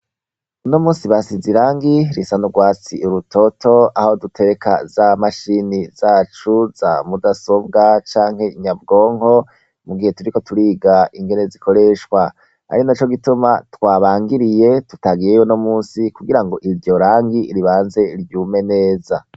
Uno munsi basize irangi risa n'urwatsi rutoto aho dutereka za mashini zacu za mudasobwa canke nyabwonko mugihe turiko turiga ingene zikoreshwa, ari naco gituma twabangiriye tugayeyo uyumusi kugirango iri joro iryo rangi ribanze ryume neza.